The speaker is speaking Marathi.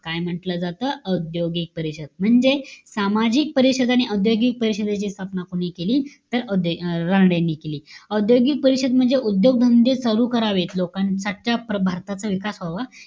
काय म्हंटल जात? औद्योगिक परिषद. म्हणजे, सामाजिक परिषद आणि औद्योगिक परिषदेची स्थापना कोणी केली? तर औ अं रानडेंनी केली. औद्योगिक परिषद म्हणजे उद्योग धंदे चालू करावेत. लोकां भारताचा विकास व्हावा.